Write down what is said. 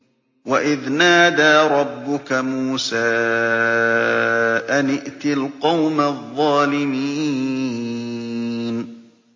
وَإِذْ نَادَىٰ رَبُّكَ مُوسَىٰ أَنِ ائْتِ الْقَوْمَ الظَّالِمِينَ